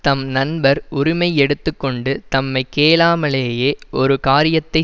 தம் நண்பர் உரிமை எடுத்து கொண்டு தம்மை கேளாமலேயே ஒரு காரியத்தை